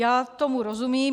Já tomu rozumím.